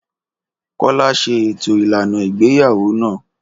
Kọ́lá ṣe ètò ìlànà ìgbéyàwó náà.